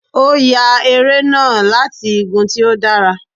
O ya eré nah latí igùn tí o dàrá